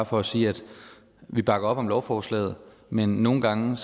for at sige at vi bakker op om lovforslaget men nogle gange